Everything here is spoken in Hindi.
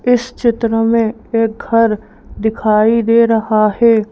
इस चित्र में एक घर दिखाई दे रहा है।